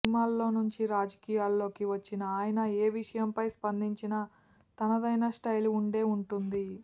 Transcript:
సినిమాల్లోంచి రాజకీయాల్లోకి వచ్చిన ఆయన ఏ విషయంపై స్పందించినా తనదైన స్టైల్ ఉండే ఉంటుంది